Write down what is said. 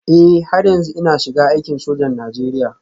Eh har yanzu ina shiga aikin sojan Najeriya